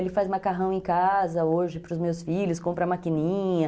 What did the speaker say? Ele faz macarrão em casa hoje para os meus filhos, compra maquininha.